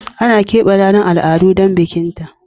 Ana keɓe ranar al'adu don bikin ta